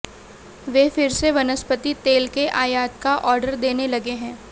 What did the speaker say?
वे फिर से वनस्पति तेल के आयात का आर्डर देने लगे है